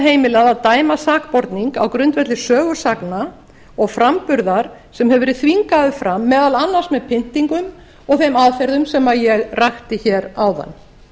heimilað að dæma sakborning á grundvelli sögusagna og framburðar sem hefur verið þvingaður fram meðal annars með pyntingum og þeim aðferðum sem ég rakti hér áðan